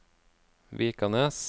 Vikanes